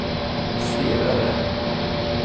stirrade